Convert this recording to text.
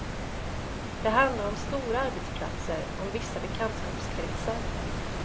Det handlar om stora arbetsplatser, om vissa bekantskapskretsar.